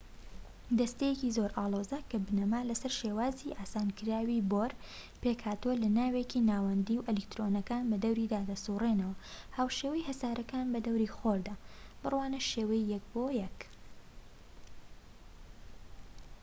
دەستەیەکی زۆر ئاڵۆزە کە بنەما لەسەر شێوازی ئاسانکراوی بۆر، پێکهاتووە لە ناوکێکی ناوەندی و ئەلیکترۆنەکان بەدەوریدا دەسوڕێنەوە هاوشێوەی هەسارەکان بە دەوری خۆردا، بڕوانە شێوەی ١.١